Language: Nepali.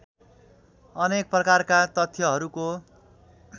अनेक प्रकारका तथ्यहरूको